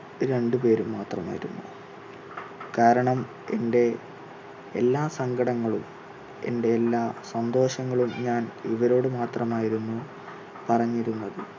രണ്ടുപേരും മാത്രമായിരുന്നു. കാരണം എന്റെ എല്ലാ സങ്കടങ്ങളും എന്റെ എല്ലാ സന്തോഷങ്ങളും ഞാൻ ഇവരോട് മാത്രമായിരുന്നു പറഞ്ഞിരുന്നത്.